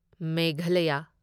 Meghalaya